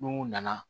N'u nana